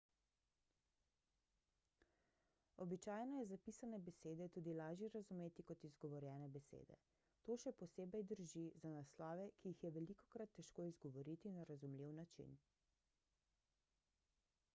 običajno je zapisane besede tudi lažje razumeti kot izgovorjene besede to še posebej drži za naslove ki jih je velikokrat težko izgovoriti na razumljiv način